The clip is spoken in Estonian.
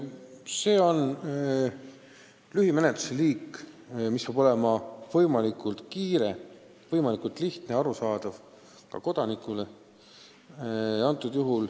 See on lühimenetlus, mis peab olema võimalikult kiire, võimalikult lihtne ja arusaadav ka kodanikule.